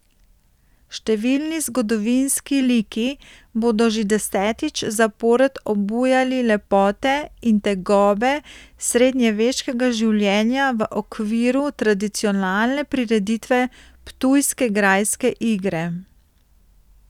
Številni zgodovinski liki bodo že desetič zapored obujali lepote in tegobe srednjeveškega življenja v okviru tradicionalne prireditve Ptujske grajske igre.